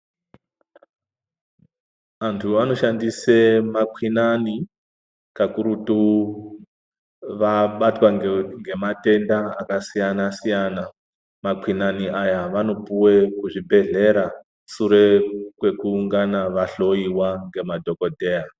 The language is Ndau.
Vantu vanoshandise makwinani, kakurutu vabatwa ngematenda akasiyana-siyana . Makwinani aya vanopuwe kuzvibhedhlera ,sure kwekungana vahloiwa ngema dhokodheya.